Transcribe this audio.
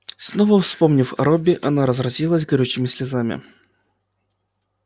снова вспомнив о робби она разразилась горючими слезами